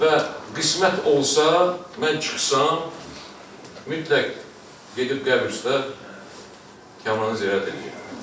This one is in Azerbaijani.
Və qismət olsa, mən çıxsam, mütləq gedib qəbrüstə Kamranı ziyarət eləyərəm.